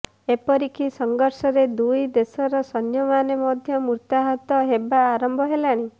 ଏପରିକି ସଂଘର୍ଷରେ ଦୁଇ ଦେଶର ସୈନ୍ୟମାନେ ମଧ୍ୟ ମୃତାହତ ହେବା ଆରମ୍ଭ ହେଲାଣି